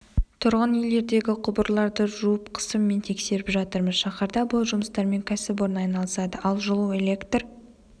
тұрғын үйлердегі құбырларды жуып қысыммен тексеріп жатырмыз шаһарда бұл жұмыстармен кәсіпорын айналысады ал жылу электр